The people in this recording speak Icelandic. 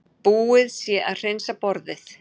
Búið sé að hreinsa borðið.